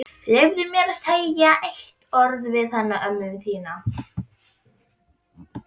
Leyfðu mér að segja eitt orð við hana ömmu þína.